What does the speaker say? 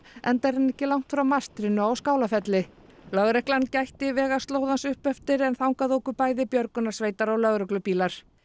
enda er hann ekki langt frá mastrinu á Skálafelli lögreglan gætti vegaslóðans upp eftir en þangað óku bæði björgunarsveitar og lögreglubílar